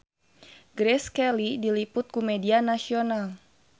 Grace Kelly diliput ku media nasional